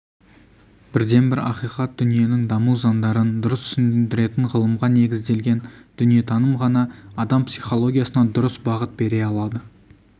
бірден бір ақиқат дүниенің даму заңдарын дұрыс түсіндіретін ғылымға негізделген дүниетаным ғана адам психологиясына дұрыс бағыт бере алады